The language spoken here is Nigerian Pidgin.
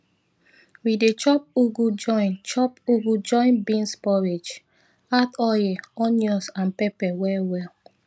we dey chop ugu join chop ugu join beans porridge add oil onions and pepper well well